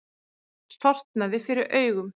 Sortnaði fyrir augum.